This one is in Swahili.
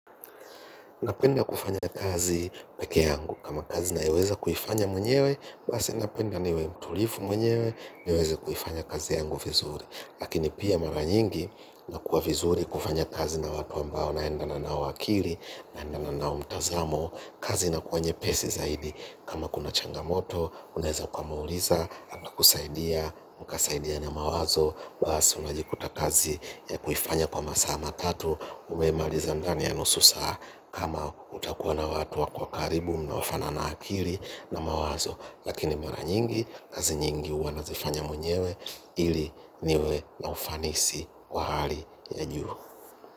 Napenda kufanya kazi peke yangu. Kama kazi nayoweza kuifanya mwenyewe, basi napenda niwe mtulivu mwenyewe niweze kuifanya kazi yangu vizuri. Lakini pia mara nyingi inakuwa vizuri kufanya kazi na watu ambao naendana nao akili, naendana nao mtazamo, kazi inakua nyepesi zaidi. Kama kuna changamoto, unaweza ukamuuliza, ana kusaidia, mkasaidiana mawazo basi unajikuta kazi ya kuifanya kwa masaa matatu. Umeimaliza ndani ya nusu saa kama utakuwa na watu wa kwa karibu munaofanana akili na mawazo. Lakini mara nyingi, kazi nyingi huwa nazifanya mwenyewe ili niwe na ufanisi kwa hali ya juu.